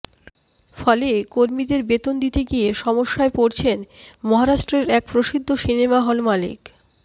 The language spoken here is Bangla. ফলে কর্মীদের বেতন দিতে গিয়ে সমস্যায় পড়ছেন মহারাষ্ট্রের এক প্রসিদ্ধ সিনেমা হল মালিক